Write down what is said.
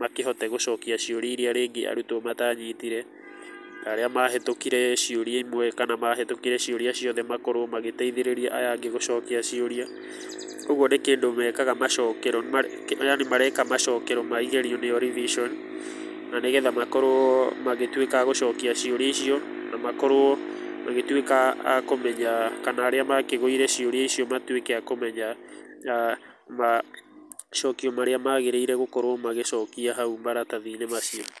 makĩhote gũcokia ciũria iria rĩngĩ arũtwo matanyitire, na arĩa mahĩtũkire ciũria imwe kana mahĩtũkire ciũria ciothe makorwo magĩteithĩrĩria aya angĩ gũcokia ciũria. Kogwo nĩ kĩndũ mekaga macokero yani mareka macokero ma igerio nĩ yo revision na nĩgetha makorwo magĩtuĩka a gũcokia ciũria icio, na makorwo magĩtuĩka a kũmenya kana arĩa makĩgũire ciũria icio matuĩke a kũmenya, macokio marĩa magĩrĩire gũkorwo magĩciokia hau maratathi-inĩ macio.